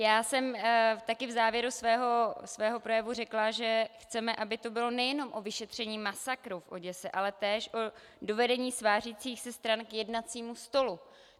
Já jsem taky v závěru svého projevu řekla, že chceme, aby to bylo nejenom o vyšetření masakru v Oděse, ale též o dovedení svářících se stran k jednacímu stolu.